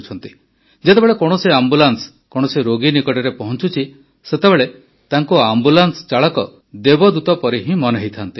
ଯେତେବେଳେ କୌଣସି ଆମ୍ବୁଲାନ୍ସ କୌଣସି ରୋଗୀ ନିକଟରେ ପହଂଚୁଛି ସେତେବେଳେ ତାଙ୍କୁ ଆମ୍ବୁଲାନ୍ସ ଚାଳକ ଦେବଦୂତ ପରି ହିଁ ମନେହୁଏ